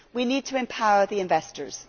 We need to empower the investors.